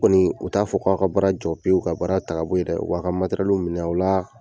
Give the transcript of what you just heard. U Kɔni u t'a fɔ k'aw ka baara jɔ peu ka baara ta ka bɔ yen dɛ u b'a materɛlu min'awla